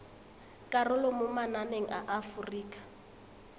karolo mo mananeng a aforika